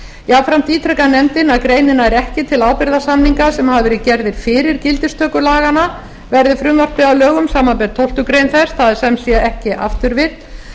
jafnframt ítrekar nefndin að greinin nær ekki til ábyrgðarsamninga sem hafa verið gerðir fyrir gildistöku laganna verði frumvarpið að lögum samanber tólftu greinar þess það er sem sé ekki afturvirkt